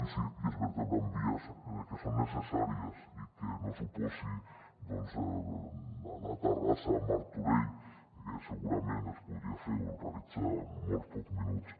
i es vertebra amb vies que són necessàries i que anar a terrassa a martorell que segurament es podria fer o realitzar en molt pocs minuts